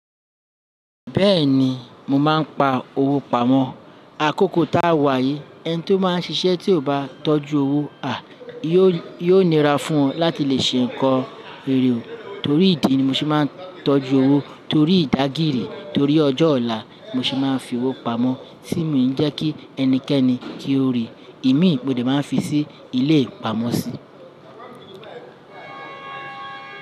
Bẹ́ẹ̀ ni, mo máà ń pa owó pamọ́. Àkókò tá a wà yìí, ẹni tí ó máa ń ṣiṣẹ́ tí ò bá tọ́jú owó, à, yóò nira fún ọ láti lè ṣe nǹkan èrè o. Torí ìdí ni mo ṣe máa ń tọ́jú owó. Torí ìdágìrì, torí ọjọ́ ọ̀la mo ṣe máa ń fi owó pamọ́. Tí mi ń jẹ́ kí ẹnikẹ́ni kí ó rí, imi mo de máa ń fi sí ilé ìpamọ́sí.